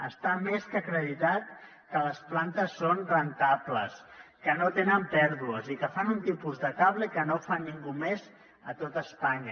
està més que acreditat que les plantes són rendibles que no tenen pèrdues i que fan un tipus de cable que no fa ningú més a tot espanya